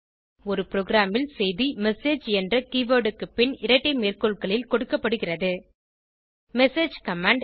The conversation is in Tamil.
ஒரு ப்ரோகிராமில் செய்தி மெசேஜ் என்ற கீவர்ட் க்கு பின் இரட்டை மேற்கோள்களில் கொடுக்கப்படுகிறது மெசேஜ் கமாண்ட்